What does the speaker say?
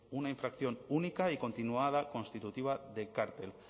una infracción única y continuada constitutiva de cárcel